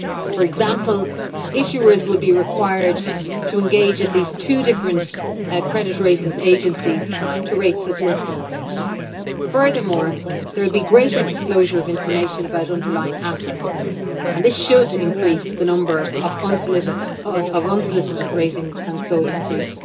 For example, issuers will be required to engage at least two different credit rating agencies to rate such instruments. Furthermore, there will be greater disclosure of information about underlying assets and this should increase the number of unsolicited ratings and so increase